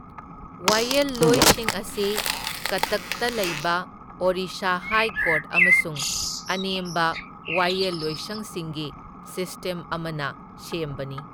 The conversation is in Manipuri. ꯋꯥꯌꯦꯜꯂꯣꯏꯁꯤꯡ ꯑꯁꯤ ꯀꯠꯇꯛꯇ ꯂꯩꯕ ꯑꯣꯔꯤꯁꯥ ꯍꯥꯏ ꯀꯣꯔꯠ ꯑꯃꯁꯨꯡ ꯑꯅꯦꯝꯕ ꯋꯥꯌꯦꯜꯂꯣꯏꯁꯪꯁꯤꯡꯒꯤ ꯁꯤꯁꯇꯦꯝ ꯑꯃꯅ ꯁꯦꯝꯕꯅꯤ꯫